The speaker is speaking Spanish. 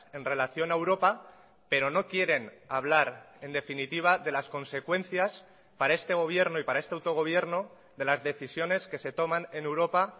en relación a europa pero no quieren hablar en definitiva de las consecuencias para este gobierno y para este autogobierno de las decisiones que se toman en europa